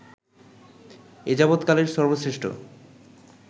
এযাবত কালের সর্ব শ্রেষ্ঠ